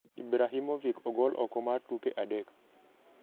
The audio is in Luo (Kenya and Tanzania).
Ibrahimovic ogol oko mar tuke adek